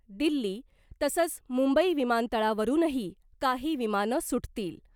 दिल्ली तसंच मुंबई विमानतळावरुनही काही विमानं सुटतील .